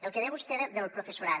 el que deia vostè del professorat